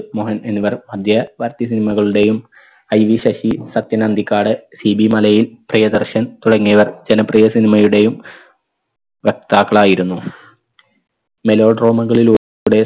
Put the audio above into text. മോഹൻ എന്നിവർ മധ്യവർത്തി cinema കളുടെയും IV ശശി സത്യനന്ദിക്കാട് സിബി മലയിൽ പ്രിയദർശൻ തുടങ്ങിയവർ ജനപ്രിയ cinema യുടെയും വക്താക്കളായിരുന്നു melodrama കളിലൂടെ